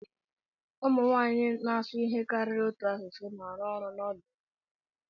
Ụmụ nwanyị na-asụ ihe karịrị otu asụsụ na-arụ ọrụ n'ọdụ ụgbọ elu.